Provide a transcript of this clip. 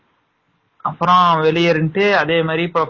அப்பறம் வெளிய இருந்துட்டு அவனமாதிரி வந்து